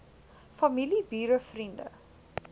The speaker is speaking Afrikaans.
familie bure vriende